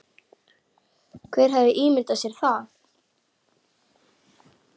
Hver hefði ímyndað sér það?